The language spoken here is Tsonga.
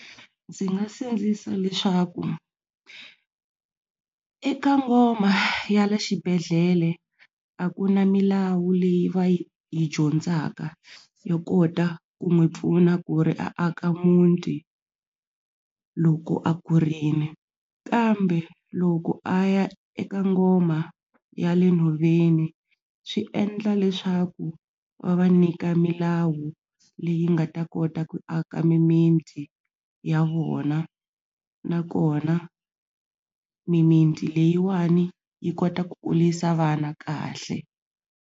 Ndzi nga sindzisa leswaku eka ngoma ya le xibedhlele a ku na milawu leyi va yi yi dyondzaka yo kota ku n'wi pfuna ku ri a aka muti loko a kurile kambe loko a ya eka ngoma ya le nhoveni swi endla leswaku va va nyika milawu leyi nga ta kota ku aka mimiti ya vona nakona mimiti leyiwani yi kota ku kulisa vana kahle.